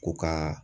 Ko ka